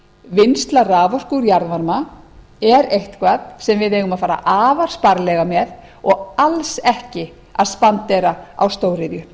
vinnsla orku úr jarðvarma er eitthvað sem við eigum að fara afar sparlega með og alls ekki að spandera á stóriðju